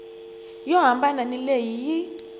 yo hambana ni leyi yi